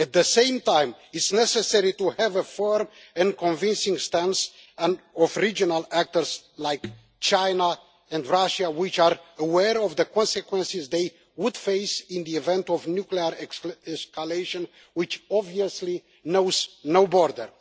At the same time, it is necessary to have a firm and convincing stance by regional actors like China and Russia, which are aware of the consequences they would face in the event of nuclear escalation, which obviously knows no borders.